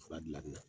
Fura dilanni na